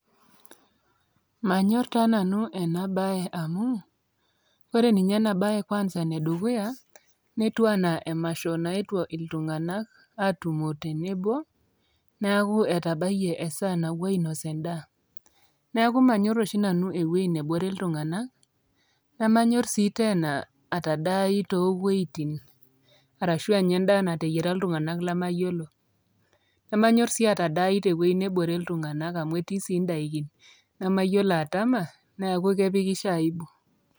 manyorr taa nanu ena baye amu kore ninye ena baye kwanza enedukuya netiu anaa emasho naetuo iltung'anak atumo tenebo niaku etabayie esaa napuo ainos endaa niaku manyorr oshi nanu ewueji nebore iltung'anak nemanyorr sii tena atadai towuejitin arashua anya endaa nateyiara iltung'anak lemayiolo nemanyorr sii atadai tewueji nebore iltung'anak amu etii sii indaikin nemayiolo atama neeku kepikisho aibu.